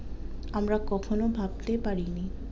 আমরা কখনো ভাবতেই পারি নি